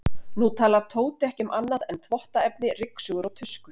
Nú talar Tóti ekki um annað en þvottaefni, ryksugur og tuskur.